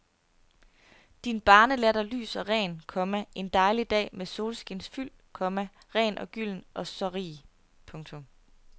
Din barnelatter lys og ren, komma en dejlig dag med solskinsfyld, komma ren og gylden og så rig. punktum